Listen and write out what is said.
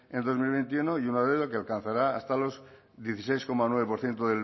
en el dos mil veintiuno y una deuda que alcanzará hasta los dieciséis coma nueve por ciento